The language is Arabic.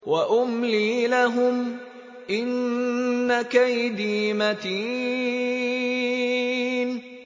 وَأُمْلِي لَهُمْ ۚ إِنَّ كَيْدِي مَتِينٌ